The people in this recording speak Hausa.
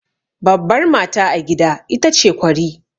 Babbar mata a gida ita ce kwari.